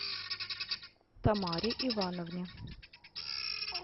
тамаре ивановне